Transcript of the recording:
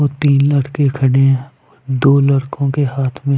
वो तीन लड़के खड़े है दो लड़कों के हाथ में--